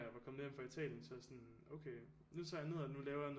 Jeg var kommet hjem fra Italien så var jeg sådan okay nu tager jeg ned og nu laver jeg